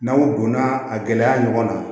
N'aw donna a gɛlɛya ɲɔgɔn na